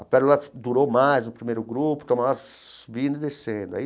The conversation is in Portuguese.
A Pérola durou mais no primeiro grupo, então nós subindo e descendo.